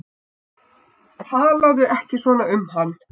Talaðu ekki svona um hann